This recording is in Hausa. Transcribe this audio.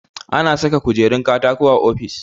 Ana saka kujerun katako a ofis